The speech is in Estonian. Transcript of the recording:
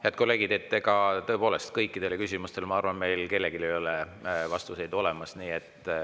Head kolleegid, ega kõikidele küsimustele, ma arvan, ei ole meil kellelgi vastuseid olemas.